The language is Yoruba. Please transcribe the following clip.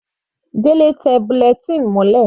Delẹ tẹ bulletin mọ́lẹ̀.